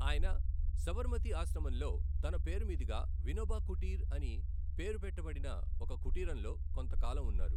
ఆయన సబర్మతీ ఆశ్రమంలో తన పేరు మీదుగా 'వినోబా కుటీర్' అని పేరు పెట్టబడిన ఒక కుటీరంలో కొంతకాలం ఉన్నారు.